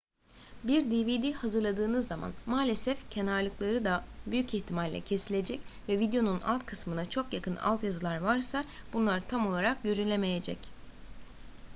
bir dvd hazırladığınız zaman maalesef kenarlıkları da büyük ihtimalle kesilecek ve videonun alt kısmına çok yakın altyazılar varsa bunlar tam olarak görülemeyecek